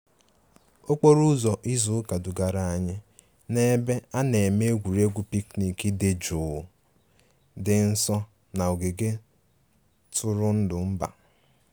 Okporo ụzọ izu ụka dugara anyị n'ebe a na-eme egwuregwu picnic dị jụụ dị nso na ogige ntụrụndụ mba